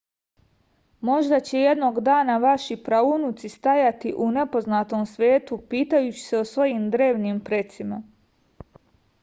možda će jednog dana vaši praunuci stajati u nepoznatom svetu pitajući se o svojim drevnim precima